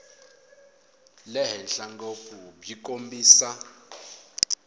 le henhla ngopfu byi kombisa